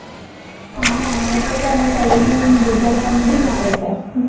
હા એટલે તો અમાર college નું result એમ dim આવે છે